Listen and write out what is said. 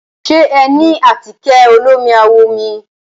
Ṣe ẹ ní àtíkẹ̀ olómi àwọ̀ mi?